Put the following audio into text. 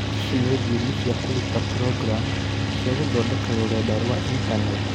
Ici nĩ thiomi cia kũruta programu cia gũthondeka rũrenda rwa intaneti